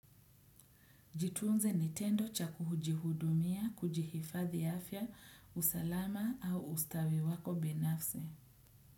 Jitunze ni tendo cha kuhujihudumia, kujihifadhi afya, usalama au ustawi wako binafsi.